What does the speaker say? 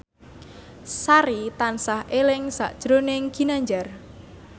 Sari tansah eling sakjroning Ginanjar